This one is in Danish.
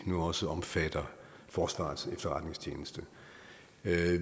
nu også omfatter forsvarets efterretningstjeneste